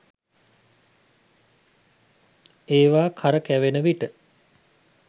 ඒවා කරකැවෙන විට